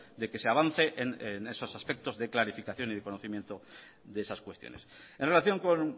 de que se avance en esos aspectos de clarificación y de conocimiento de esas cuestiones en relación con